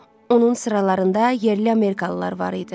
Onun sıralarında yerli amerikalılar var idi.